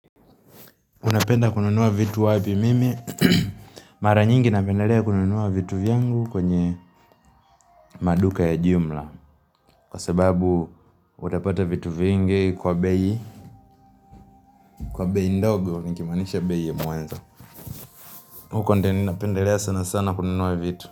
Unapenda kununua vitu wapi mimi Mara nyingi napendelea kununua vitu vyangu kwenye maduka ya jumla Kwa sababu utapata vitu vingi kwa beii Kwa bei ndogo ni kimanisha bei ya muanzo huko ndo nina pendelea sana sana kununua vitu.